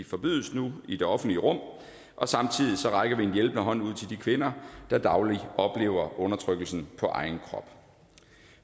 forbydes nu i det offentlige rum og samtidig rækker vi en hjælpende hånd ud til de kvinder der dagligt oplever undertrykkelsen på egen krop